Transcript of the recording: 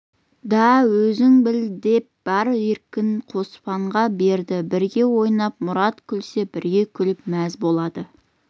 да өзің біл деп бар еркін қоспанға берді бірге ойнап мұрат күлсе бірге күліп мәз болады